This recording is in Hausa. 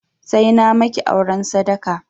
Sai na maki auren sadaka!